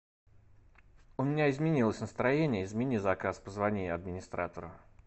у меня изменилось настроение измени заказ позвони администратору